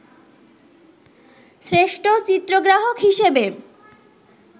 শ্রেষ্ঠ চিত্রগ্রাহক হিসেবে